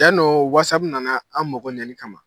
Yan nɔ wasapu nana an mɔgɔ ɲɛli kama